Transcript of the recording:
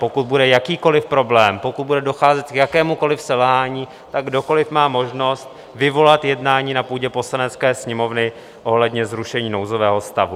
Pokud bude jakýkoli problém, pokud bude docházet k jakémukoli selhání, tak kdokoli má možnost vyvolat jednání na půdě Poslanecké sněmovny ohledně zrušení nouzového stavu.